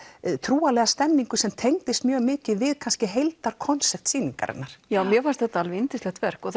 trúarlega stemningu sem tengdist mjög mikið við kannski heildar konsept sýningarinnar já mér fannst þetta alveg yndislegt verk og